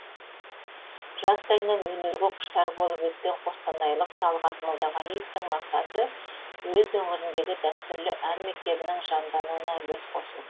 жастайынан өнерге құштар болып өскен қостанайлық талғат молдағалиевтің мақсаты өз өңіріндегі дәстүрлі ән мектебінің жандануына үлес қосу